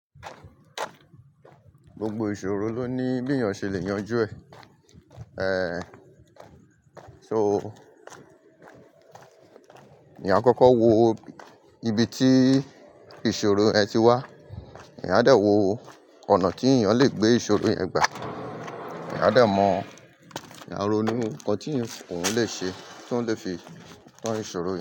Gbogbo ìṣòro ló ní bí èèyàn ṣe le yanjú ẹ̀. So, eeyan akọ́kọ́ wo ibi tí ìṣòro ẹ ti wá. Eeyan a dẹ̀ wo ọ̀nà tí èèyàn le gbé ìṣòro yẹn gbà. Eeyan a dẹ̀ mọ eeyan a ronu nǹkan tí òun lè ṣe tí ó lè fi kọ́ ìṣòro yẹn.